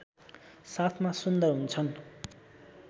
साथमा सुन्दर हुन्छन्